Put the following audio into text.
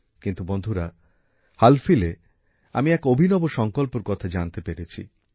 কিন্তু বন্ধুরা হালফিলএ আমি এক অভিনব সংকল্পর কথা জানতে পেরেছি